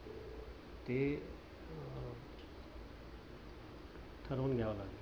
ठरवून घ्याव लागेल.